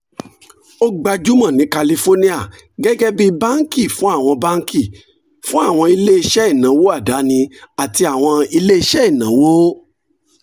ó gbajúmọ̀ ní kálífóríà gẹ́gẹ́ bí banki fún àwọn banki fún àwọn iléeṣẹ́ ìnáwó àdáni àti àwọn iléeṣẹ́ ìnáwó